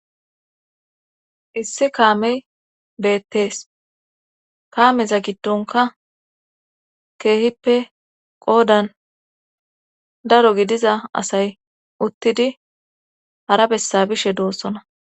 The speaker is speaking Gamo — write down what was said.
issi kaamey beettees kaameza giddonka keehippe qoodan daro gidiza asay uttidi harabessa bishe doossona